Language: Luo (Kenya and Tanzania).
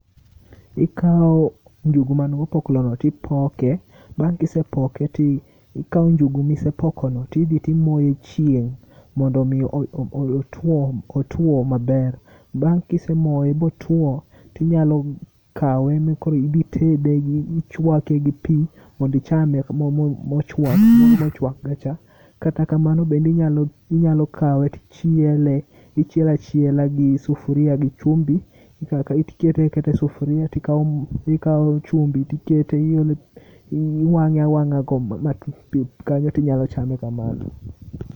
Ikawo njugu mangi opoklogo tipoke, bang' kisepoke tikawo njugu misepokono tidhi timoye chieng' mondo mi otwo maber. Bang' kisemoye motwo, tinyalo kawe mondo idhi itede gi , ichwake gi pii mondo ichame mochwak moro mochwakre cha .Kata kamano bende inyalo kawe tichiele, ichiele achiela gi sufuria gi chumbi, ikawe akawa tikete aketa e sufuria tikawo chumbi tikete, iwang'e awang'a ma kanyo tinyalo chame kamano.